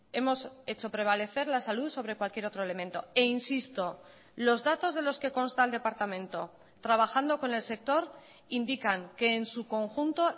hemos hecho prevalecer la salud sobre cualquier otro elemento e insisto los datos de los que consta el departamento trabajando con el sector indican que en su conjunto